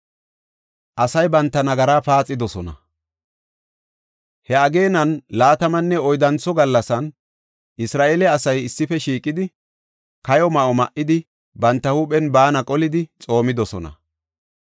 He ageenan laatamanne oyddantho gallasan Isra7eele asay issife shiiqidi, kayo ma7o ma7idi, banta huuphen baana qolidi xoomidosona.